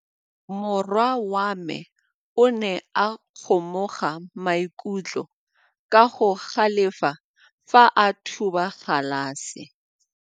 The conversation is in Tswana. Morwa wa me o ne a kgomoga maikutlo ka go galefa fa a thuba galase.